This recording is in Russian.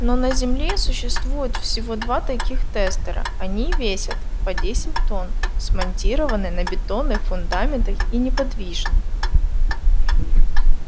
но на земле существуют всего два таких тестера они весят по десять тонн смонтированы на бетонных фундаментах и неподвижны